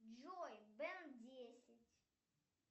джой бен десять